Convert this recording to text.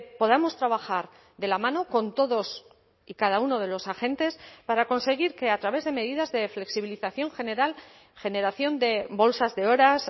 podamos trabajar de la mano con todos y cada uno de los agentes para conseguir que a través de medidas de flexibilización general generación de bolsas de horas